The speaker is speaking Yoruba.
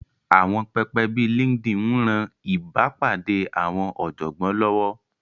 Àwọn pẹpẹ bíi LinkedIn ń ran ìbápàdé àwọn ọ̀jọ̀gbọ́n lọ́wọ́